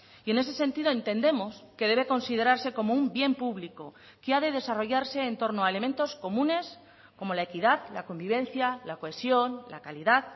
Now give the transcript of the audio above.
y en ese sentido entendemos que debe considerarse como un bien público que ha de desarrollarse en torno a elementos comunes como la equidad la convivencia la cohesión la calidad